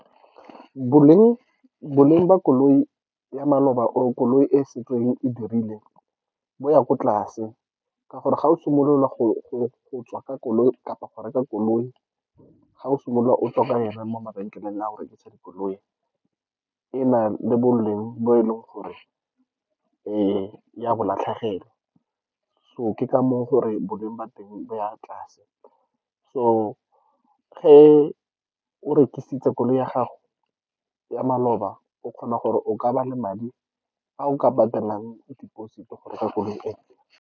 Boleng ba koloi ya maloba, or koloi e setseng e dirile bo ya kwa tlase, ka gore ga o simolola go tswa ka koloi kapa go reka koloi, ga o simolola o tswa ka yona mo mabenkeleng a go rekisa dikoloi, ena le boleng bo e leng gore o a bo latlhegelwa. So, ke ka moo gore boleng ba teng bo ya kwa tlase. So, ge o rekisitse koloi ya gago ya maloba, o kgona gore o ka ba le madi a o ka patalang deposit-i go reka koloi .